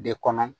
De kɔnɔ